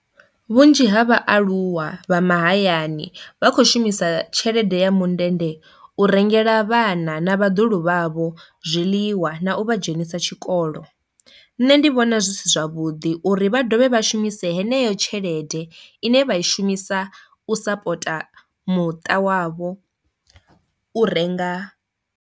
Vhunzhi ha vhaaluwa vha mahayani vha khou shumisa tshelede ya mundende u rengela vhana na vhaḓuhulu vhavho zwiḽiwa na u vha dzhenisa tshikolo. Nṋe ndi vhona zwi si zwavhuḓi uri vha dovhe vha shumise heneyo tshelede ine vha i shumisa u sapota muṱa wavho u renga